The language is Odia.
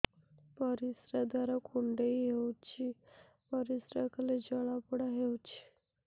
ପରିଶ୍ରା ଦ୍ୱାର କୁଣ୍ଡେଇ ହେଉଚି ପରିଶ୍ରା କଲେ ଜଳାପୋଡା ହେଉଛି